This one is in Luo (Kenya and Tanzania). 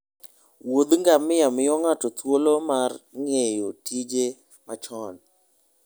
Wuoth ngamia miyo ng'ato thuolo mar ng'eyo tije machon.